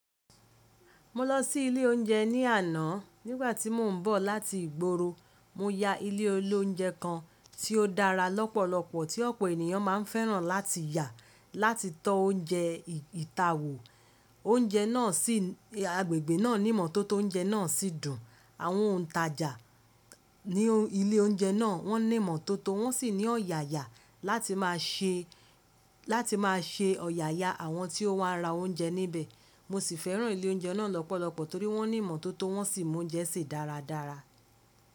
Mo lọ sí ilé oúnjẹ ní àná nígbà tí mò ń bọ̀ láti ìgboro. Mo ya ilé olóúnjẹ kan tí ó dára lọ́pọ̀lọpọ̀ tí ọ̀pọ̀ ènìyàn máa ń fẹ́ràn láti yà láti tọ́ oúnjẹ ìta wò. Oúnjẹ náà sì agbègbè náà níìmọ́tótó oúnjẹ náà sì dùn. Àwọn òntajà ní ilé oúnjẹ náà wọ́n níìmọ́tótó wọ́n sì ní ọ̀yàyà láti má a ṣe, láti má a ṣe ọ̀yàyà àwọn tí ó wá ra oúnjẹ níbẹ̀. Mo sì fẹ́ràn ilé oúnjẹ náà lọ́pọ̀lọpọ̀ torí wọ́n níìmọ́tótó wọ́n sì moúnjẹ se dáradára.